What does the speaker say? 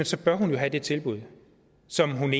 så bør have have det tilbud som hun